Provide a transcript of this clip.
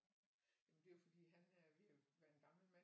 Jamen det er jo fordi han er ved at være en gammel mand